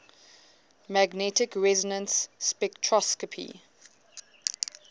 magnetic resonance spectroscopy